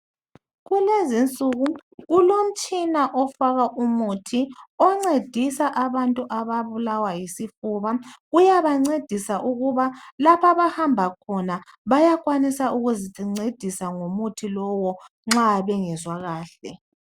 Kulezi nsuku kulomtshina ofaka umuthi oncedisa abantu ababulawa yisifuba, uyabancedisa ukuba lapha abahamba khona bayakwanisa ukuzincedisa ngomuthi lowo nxa bengezwa kahle.